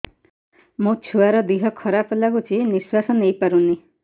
ମୋ ଛୁଆର ଦିହ ଖରାପ ଲାଗୁଚି ନିଃଶ୍ବାସ ନେଇ ପାରୁନି